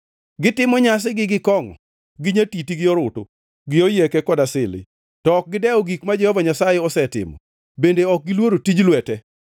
Gitimo nyasigi gi kongʼo, gi nyatiti, gi orutu, gi oyieke kod asili, to ok gidewo gik ma Jehova Nyasaye osetimo bende ok giluoro tij lwete.